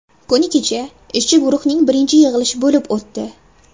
Kuni kecha ishchi guruhning birinchi yig‘ilishi bo‘lib o‘tdi.